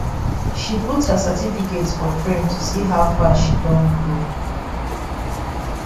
she put her certificate for frame to see how far she don grow